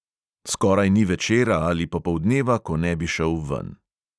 Skoraj ni večera ali popoldneva, ko ne bi šel ven.